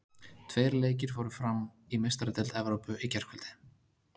Tveir leikir fóru fram í Meistaradeild Evrópu í gærkvöld.